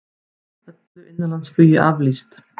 Öllu innanlandsflugi aflýst